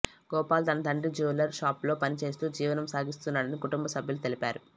గోపాల్ తన తండ్రి జువెల్లర్ షాప్లో పని చేస్తూ జీవనం సాగిస్తున్నాడని కుటుంబ సభ్యులు తెలిపారు